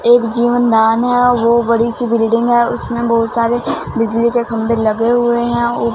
एक जीवन दान है वो बड़ी सी बिल्डिंग है उसमें बहोत सारे बिजली के खंभे लगे हुए है और--